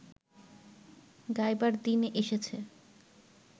গাইবার দিন এসেছে